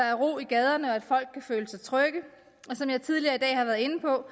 er ro i gaderne og at folk kan føle sig trygge og som jeg tidligere i dag har været inde på